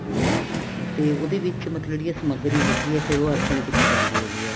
ਅੱਛਾ ਤੇ ਉਹਦੇ ਵਿੱਚ ਮਤਲਬ ਜਿਹੜੀ ਸਮੱਗਰੀ ਹੈਗੀ ਹੈ ਫ਼ੇਰ ਉਹ ਅਰਪਨ ਕੀਤੀ ਜਾਂਦੀ ਹੈਗੀ ਏ